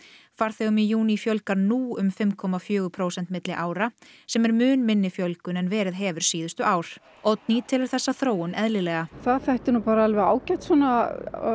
farþegum í júní fjölgar nú um fimm komma fjögur prósent milli ára sem er mun minni fjölgun en verið hefur síðustu ár Oddný telur þessa þróun eðlilega það þætti nú bara ágætt svona